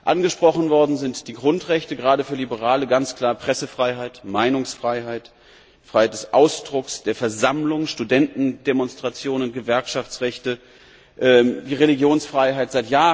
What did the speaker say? Angesprochen werden die Grundrechte gerade für Liberale ganz klar Pressefreiheit, Meinungsfreiheit, Freiheit des Ausdrucks, der Versammlung, Studentendemonstrationen, Gewerkschaftsrechte, die Religionsfreiheit.